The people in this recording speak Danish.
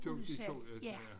Det var 2 ja ja